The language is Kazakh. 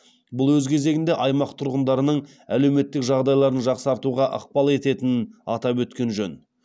бұл өз кезегінде аймақ тұрғындарының әлеуметтік жағдайларын жақсартуға ықпал ететінін атап өткен жөн